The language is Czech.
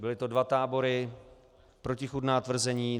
Byly to dva tábory, protichůdná tvrzení.